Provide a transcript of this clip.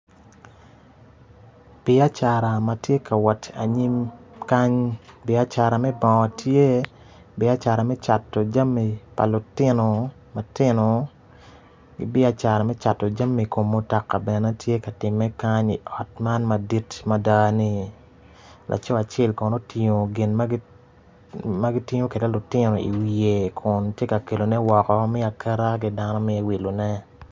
Biacara ma tye ka wot anyim kany biacara me bongo biacara me cato jami pa lutino matino ki biacara me cato jami kom mutoka bene tye ka timme kany i ot man madit mada ni laco acel kono otingo gin ma kitingo ki lutino iwiye kun tye ka kelone woko me aketa ki dano me wilone.